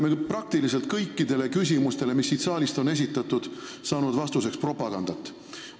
Me oleme praktiliselt kõikidele küsimustele, mis siit saalis on esitatud, saanud vastuseks propagandat.